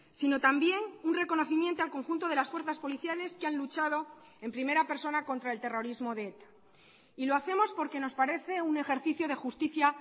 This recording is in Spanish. sino también un reconocimiento al conjunto de las fuerzas policiales que han luchado en primera persona contra el terrorismo de eta y lo hacemos porque nos parece un ejercicio de justicia